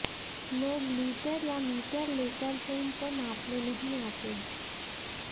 लोग लीटर या मीटर लेकर फिल्म को नापने नहीं आते